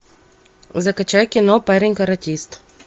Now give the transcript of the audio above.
закачай кино парень каратист